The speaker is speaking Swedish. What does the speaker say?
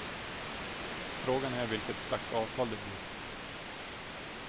Frågan är vilket slags avtal det blir.